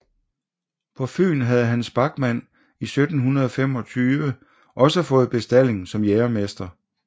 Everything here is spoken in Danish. På Fyn havde Hans Bachmann 1725 også fået bestalling som jægermester